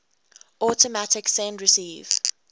automatic send receive